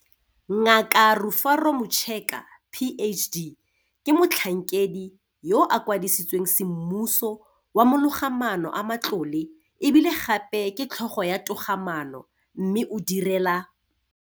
Ngaka Rufaro Mucheka, PhD, ke Motlhankedi yo a Kwadisitsweng Semmuso wa Mologamaano a Matlole e bile gape ke Tlhogo ya Togamaano mme o direla